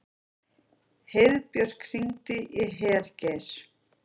Heiðbjörk, hringdu í Hergeir.